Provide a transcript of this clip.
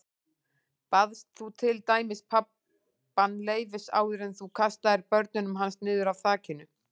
Baðst þú til dæmis pabbann leyfis áður en þú kastaðir börnunum hans niður af þakinu?